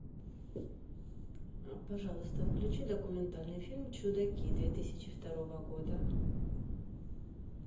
пожалуйста включи документальный фильм чудаки две тысячи второго года